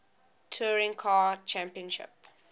touring car championship